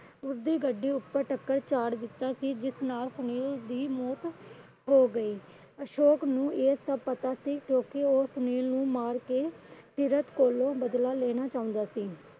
ਉਸ ਦੀ ਗੱਡੀ ਉਪਰ ਟੱਕਰ ਚਾੜ ਦਿੱਤਾ ਸੀ ਜਿਸ ਨਾਲ ਸੁਨੀਲ ਦੀ ਮੌਤ ਹੋ ਗਈ। ਅਸ਼ੋਕ ਨੂੰ ਇਹ ਸਭ ਪਤਾ ਸੀ ਕਿਉਂਕਿ ਉਹ ਸੁਨੀਲ ਨੂੰ ਮਾਰ ਕੇ ਸੀਰਤ ਕੋਲੋਂ ਬਦਲਾ ਲੈਣਾ ਚਾਹੁੰਦਾ ਸੀ।